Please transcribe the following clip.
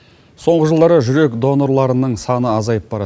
соңғы жылдары жүрек донорларынның саны азайып барады